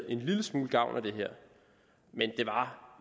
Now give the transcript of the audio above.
en lille smule gavn at det her men det var